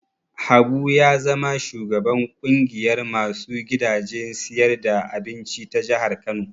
Habu ya zama shugaban ƙungiyar ma su gidajen siyar da abinci ta jihar Kano.